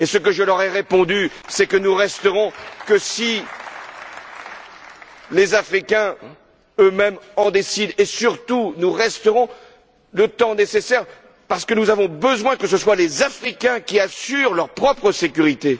Je leur ai répondu que nous ne resterons que si les Africains eux mêmes le décident et, surtout, nous resterons le temps nécessaire parce que nous avons besoin que ce soient les Africains qui assurent leur propre sécurité.